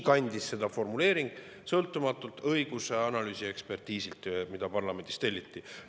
Sellist formuleeringut kandis õigusanalüüsi käigus tehtud sõltumatu ekspertiis, mis parlamendis telliti.